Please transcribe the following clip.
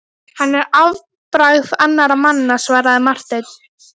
Hann er afbragð annara manna, svaraði Marteinn.